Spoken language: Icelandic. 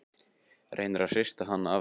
Reynir að hrista hana af sér.